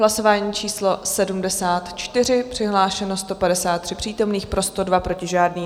Hlasování číslo 74, přihlášeno 153 přítomných, pro 102, proti žádný.